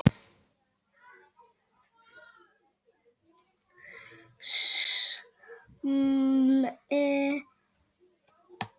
Þögnin umvafði okkur.